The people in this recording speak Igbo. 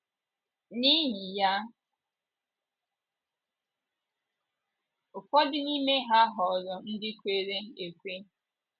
N’ihi ya, ụfọdụ n’ime ha ghọrọ ndị kwere ekwe. ”